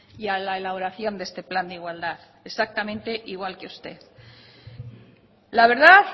y a la elaboración de este plan de igualdad exactamente igual que usted la verdad